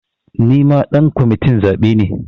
Nima ɗan kwamitin zaɓe ne